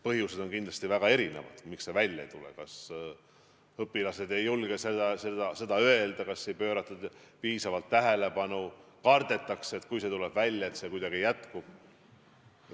Põhjused on kindlasti väga erinevad, miks see avalikuks ei tule – kas õpilased ei julge seda öelda, kas sellele ei pöörata piisavalt tähelepanu, kardetakse, et kui see tuleb välja, siis see jätkub ikkagi.